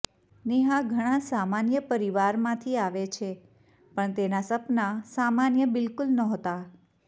નેહા ઘણા સામાન્ય પરિવારમાંથી આવે છે પણ તેના સપના સામાન્ય બિલકુલ નહોતા